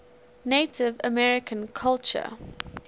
native american culture